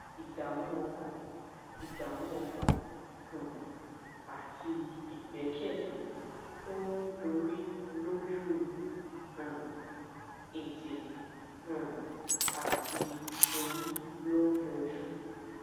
ìdààmú ọkàn ìdààmú ọkàn um àti ìgbékèlé tó ń dorí lójú um ètè um àti orí ló ń yọjú